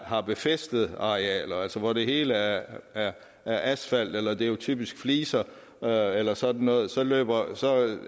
har befæstede arealer altså hvor det hele er asfalt eller det er jo typisk fliser eller eller sådan noget